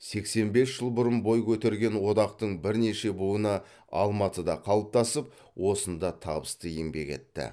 сексен бес жыл бұрын бой көтерген одақтың бірнеше буыны алматыда қалыптасып осында табысты еңбек етті